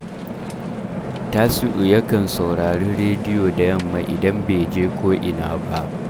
Tasi’u yakan saurari rediyo da yamma idan bai je ko’ina ba